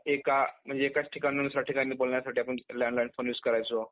एका म्हणजे एकाच ठिकाणाहून दुसऱ्या ठिकाणी बोलण्यासाठी आपण landline phone use करायचो .